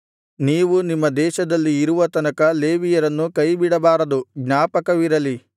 ನೀವು ನಿಮ್ಮ ದೇಶದಲ್ಲಿ ಇರುವ ತನಕ ಲೇವಿಯರನ್ನು ಕೈಬಿಡಬಾರದು ಜ್ಞಾಪಕವಿರಲಿ